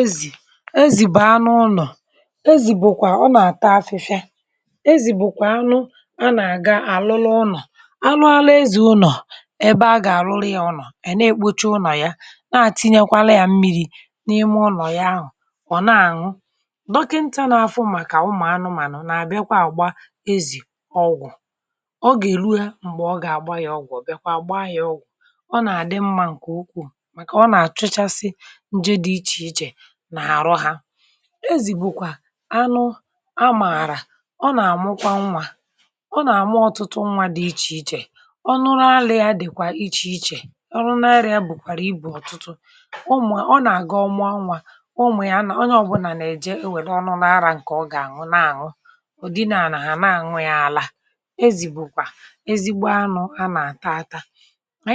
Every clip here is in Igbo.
Ezì um ezì, um, bàa n’ụnọ̀! Ezì bụkwa anụ̇, ọ nà-àta afịfịa, um, ezì bụ̀kwa anụ̇ a nà-àga àlụlụ ụnọ̀. Ụnọ̀ anụ̇ alụ ezì bụ ebe a gà-àrụrụ ya. Ọ nọ̀, e na-ekpocha ụnọ̀ ya, na-àtinyekwa ya mmiri̇ n’ime ụnọ̀ ya ahụ̀ kpọ̀ọ̀. Ezì,.. ọ nà-àṅụkwa dọkịnta n’afụ, um, maka ụmụ̀ anụmànụ̀, nà bịakwa àgba ya ọgwụ̀. Ọ gà-èlu ya mgbe ọ gà-àgba ya ọgwụ̀, bịakwa àgba ya ọgwụ̀ ọzọ ọ nà-àdị mmȧ n’ihi na ọ na-àchụchasi. Ezì bụkwa anụ̇ amàrà! Ọ nà-àmụkwa nwa, um, ọ nà-àmụ ọtụtụ nwa dị iche iche. Ọ nụrụ alịa dịkwa iche iche, ọrụ narịa bụkwa ibù ọtụtụ ụmụ̀. Ezì, um ọ nà-àgị ọmụ nwa, ụmụ̀ ya, nà onye ọbụla nà-èje, n’enwè ọnụla arà nke ọ gà-àṅụ. Na-àṅụ ụ̀dịnaànà hà na-àṅụ ya, àla! Ezì bụkwa ezigbo anụ̇ a nà-àta, um, ata nke ọma!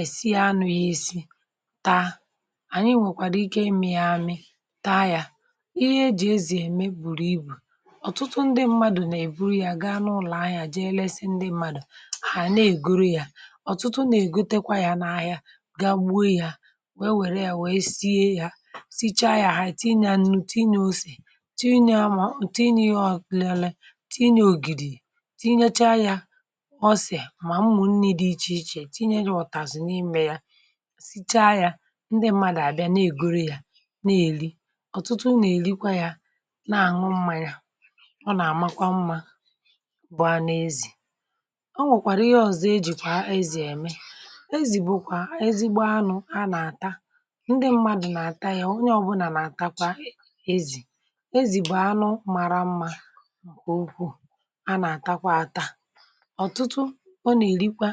E si ya, n'ụdị nri dị iche iche ànyị nwekwara ike ịmị̇ ya, amị, taa ya. Ihe e jì ezì eme bụ, um, ibù ọ̀tụtụ! Ndị mmadụ̀ nà-èburu ya gaa n’ụlọ̀ ahịa, jee lesị ndị mmadụ̀, hà nà-ègoro ya. Ọ̀tụtụ nà-ègotekwa ya n’ahịa, gaa gboo ya, wee wèrè ya, sie ya. Sichaa ya, tinye ànu, tinye osè, tinye amáọ̀, tinye ọ̀klele, tinye ògìdì, tinye cha, um, tinye ọsè mà mmụ̀nni dị iche iche! Sichaa ya, ndị mmadụ̀ àbịa, na-ègoro ya, na-èli. Ọ̀tụtụ nà-èrikwa ya, na-àṅụ mmȧ ya um ọ nà-àma mmȧ! Ezì bụ anụ̇, ọ bụkwa ezigbo anụ̇ e ji mee ihe ndị ọzọ. Ejịkwa ezì eme ọtụtụ ihe. Ezì bụkwa ezigbo anụ̇ a nà-àta. Ndị mmadụ̇ nà-àta ya, onye ọbụla nà-àta ezì. Ezì bụ̀ anụ̇ mara mmȧ!.. A nà-àta ya, àta ọtụtụ, ọ nà-èrikwa,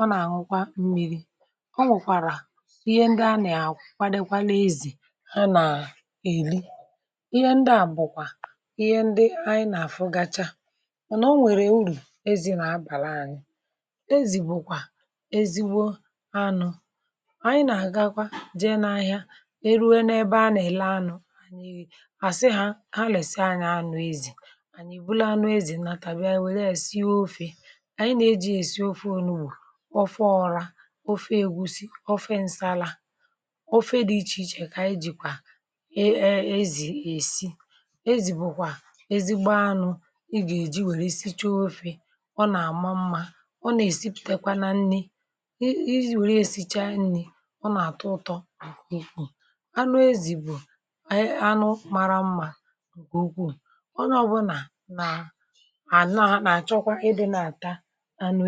ọ nà-àṅụkwa mmiri̇. Ọ nwekwara ihe ndị a nà-àkwadekwala ezì. Ọ nà-èli ihe ndị a, bụkwa ihe ndị ànyị nà-àfụ gacha. Mànà o nwekwa uru ezì nà-abàla anyị̇ uru. Ezì bụkwa ezigbo anụ̇. Ànyị nà-agakwa, um, jee n’ahịa, e ruo n’ebe a nà-èlè anụ̇, ànyị kàsịghà ha, lèsi anyȧ anụ ezì. Ànyị, mgbe anụ ezì natàbịa, wèelee e si ya ofè: ofè ègusi, ofè ǹsala, ofè dị iche iche. Ànyị jikwa ezì esi... um ezì bụkwa ezì gba anụ̇.I gà eji ya esichaa ofè, ọ nà-àma mmȧ, ọ nà-èsipụtakwa nà nni ezi, wèrè esichaa nni̇, ọ nà-àtọ ụtọ. Anụ ezì bụ̀ ànyị anụ̇ mara mmȧ, ǹkè ukwuù! Ọ nọọbụnà, n’ànọ, à nà-àchọkwa iji ya, na-àta um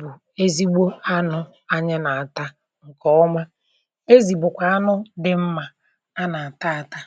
bụ ezigbo anụ̇ ànyị nà-àta, ǹkè ọma. Ezì bụkwa anụ̇ dị mmȧ a nà-àta, àta!